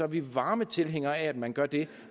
vi varme tilhængere af at man gør det